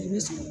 I bɛ son